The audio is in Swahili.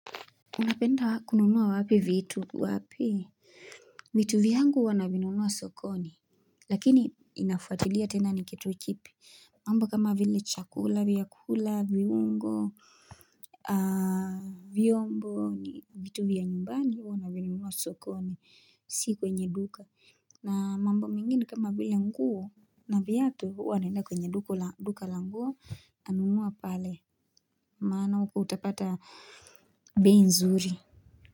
Unapenda kununua wapi vitu wapi? Vitu vyangu huwa navinunua sokoni, lakini inafuatilia tena nikitukipi, mambo kama vile chakula, vyakula, viungo, a vyombo ni vitu vya nyumbani huwa navinunua sokoni, si kwenye duka, na mambo mengine kama vile nguo na viatu huwa naenda kwenye duka la nguo nunua pale, maana uko utapata bei nzuri.